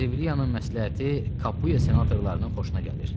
Serviliyanın məsləhəti Kapuya senatorlarının xoşuna gəlir.